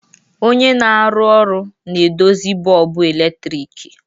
Onye na-arụ ọrụ na-edozi bọlbụ eletrik.